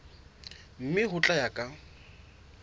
mme ho tla ya ka